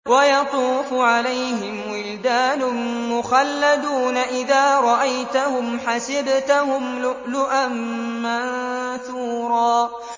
۞ وَيَطُوفُ عَلَيْهِمْ وِلْدَانٌ مُّخَلَّدُونَ إِذَا رَأَيْتَهُمْ حَسِبْتَهُمْ لُؤْلُؤًا مَّنثُورًا